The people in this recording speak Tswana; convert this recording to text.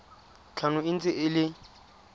tlhano e ntse e le